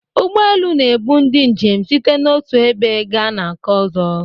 Ụgbọ elu na-ebu ndị njem site n'otu ebe gaa na nke ọzọ.